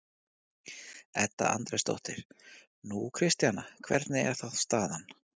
Edda Andrésdóttir: Nú, Kristjana, hvernig er þá staðan?